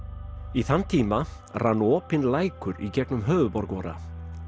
í þann tíma rann opinn lækur í gegnum höfuðborg vora